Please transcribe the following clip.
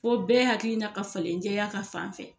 Fo bɛɛ hakilina ka falen jɛya ka fan fɛ